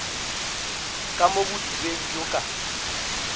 ka mo bodibeng bjo ka